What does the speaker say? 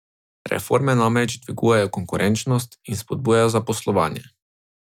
Reforme namreč dvigajo konkurenčnost in spodbujajo zaposlovanje.